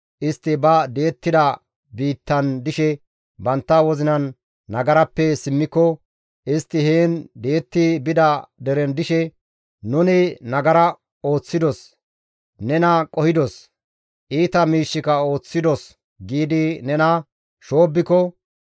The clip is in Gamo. istti ba di7ettida biittan dishe bantta wozinan nagarappe simmiko, istti heen di7etti bida deren dishe, ‹Nuni nagara ooththidos; nena qohidos; iita miishshika ooththidos› giidi nena shoobbiko,